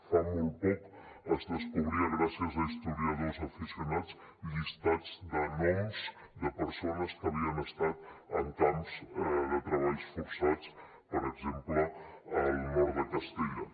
fa molt poc es descobria gràcies a historiadors aficionats llistats de noms de persones que havien estat en camps de treballs forçats per exemple al nord de castella